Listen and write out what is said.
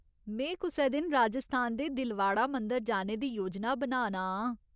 में कुसै दिन राजस्थान दे दिलवाड़ा मंदर जाने दी योजना बना ना आं।